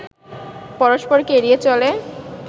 পরস্পরকে এড়িয়ে চলে